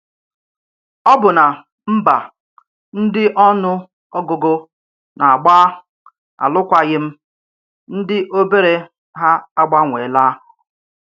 Ọbụ̀nà mba ndí ọnụ ọgụgụ na-agbà alụkwaghị̀m dị̀ òbèrè hà àgbanweèlà.